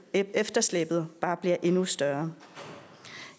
efterslæbet bare bliver endnu større